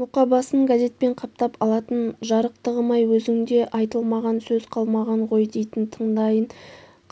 мұқабасын газетпен қаптап алатын жарықтығым-ай өзіңде айтылмаған сөз қалмаған ғой дейтін таңдайын